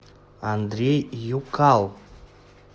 андрей юкал